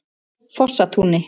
Fossatúni